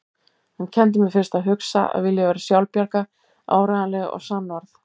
Hann kenndi mér fyrst að hugsa, að vilja vera sjálfbjarga, áreiðanleg og sannorð.